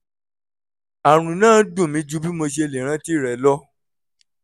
àrùn náà dùn mí ju bí mo ṣe lè rántí rẹ̀ lọ